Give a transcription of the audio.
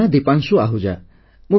ମୋ ନାମ ଦୀପାଂଶୁ ଆହୂଜା